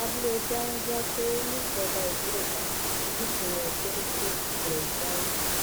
abúlé danzanke níjọba ìbílẹ iṣa nípìnlẹ sokoto nìṣẹlẹ yìí ti wáyé